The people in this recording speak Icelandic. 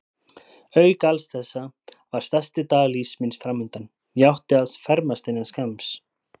Auk alls þessa var stærsti dagur lífs míns framundan: ég átti að fermast innan skamms.